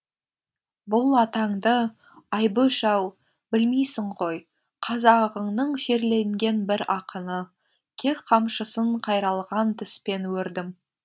бұл атаңды айбөш ау білмейсің ғой қазағыңның шерленген бір ақыны кек қамшысын қайралған тіспен өрдім